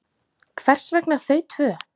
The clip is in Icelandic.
Hvers vegna þau tvö?